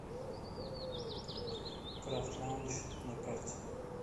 крафт лаундж на карте